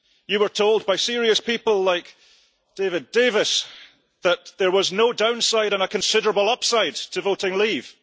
you were told by serious people like David Davis that there was no downside and a considerable upside to voting leave.